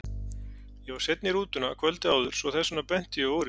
Ég var seinn í rútuna kvöldið áður svo þess vegna benti ég á úrið.